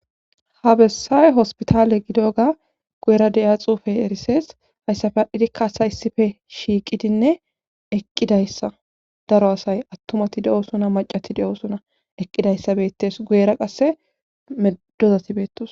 ha bessay hospitaale gidoga guyera di'iya xuufey erisees hayssafe adhidikka asay issife shiiqidinne eqqidayssa daro asay attumati de7o suna macati de7osuna eqqidayssa beettes guyera qasse medozati beettosona